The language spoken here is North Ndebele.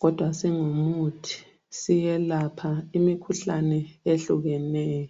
kodwa singumuthi siyelapha imikhuhlane ehlukeneyo.